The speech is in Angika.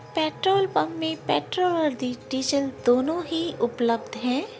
पेट्रोल पंप में पेट्रोल और डि डीज़ल दोनों ही उपलब्घ है।